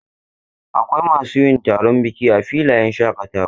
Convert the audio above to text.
Akwai masu yin taron biki a filayen shaƙatawa.